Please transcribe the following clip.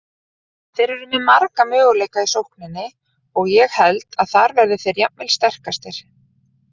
Þeir eru með marga möguleika í sókninni og ég held þar verði þeir jafnvel sterkastir.